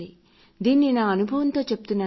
దీన్ని నా అనుభవంతో చెబుతున్నాను